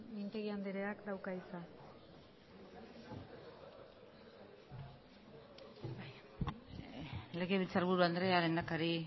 mintegi andreak dauka hitza legebiltzarburu andrea lehendakari